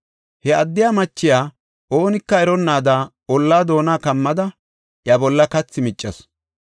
He addiya machiya oonika eronnaada ollaa doona kammada iya bolla kathi miccasu.